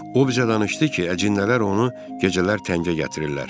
O bir danışdı ki, əcinlər onu gecələr təngə gətirirlər.